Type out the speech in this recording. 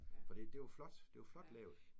Fordi det var flot. Det var flot lavet